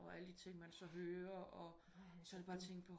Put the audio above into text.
Og alle de ting man så hører og sad bare og tænkte